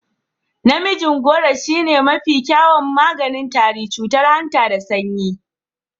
Namijin gworo shine mafi kyawun maganin tari, cutar hanta da sanyi.